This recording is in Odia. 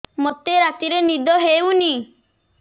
ମୋତେ ରାତିରେ ନିଦ ହେଉନି